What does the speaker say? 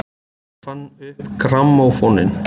Hver fann upp grammófóninn?